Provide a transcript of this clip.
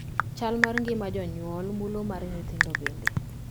Chal mar ngima jonyuol mulo mar nyithindo bende.